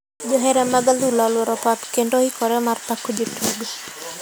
Johera mag adhula oluora pap kendo oikre mar pako jotugo.